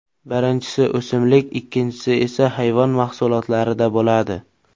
Birinchisi o‘simlik ikkinchisi esa hayvon mahsulotlarida bo‘ladi.